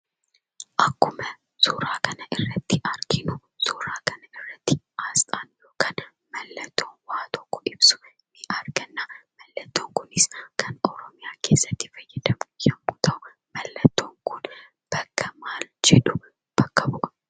Akkuma suuraa kanarratti arginu, suuraa kana irratti asxaa yookaan mallattoo waa tokko ibsu arganna. Mallattoon kunis ,kan Oromiyaa keessatti fayyadamnu yemmuu ta'u, mallattoon kun, kan maal jedhu bakka bu'a?